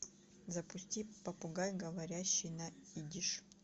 запусти попугай говорящий на идиш